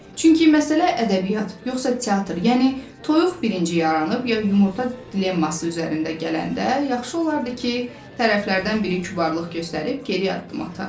Çünki məsələ ədəbiyyat yoxsa teatr, yəni toyuq birinci yaranıb ya yumurta dilemması üzərində gələndə, yaxşı olardı ki, tərəflərdən biri kübarlıq göstərib geriyə addım ata.